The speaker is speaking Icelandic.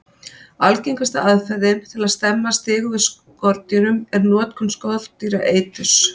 Algengasta aðferðin til að stemma stigu við skordýrum er notkun skordýraeiturs.